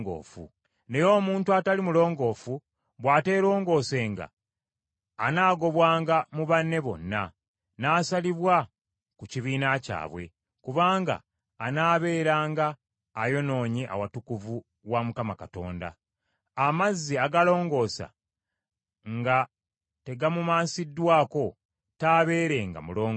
“Naye omuntu atali mulongoofu bw’ateerongoosenga anaagobwanga mu banne bonna, n’asalibwa ku kibiina kyabwe, kubanga anaabeeranga ayonoonye awatukuvu wa Mukama Katonda. Amazzi agalongoosa nga tegamumansiddwako, taabeerenga mulongoofu.